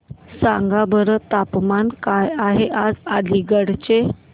सांगा बरं तापमान काय आहे आज अलिगढ चे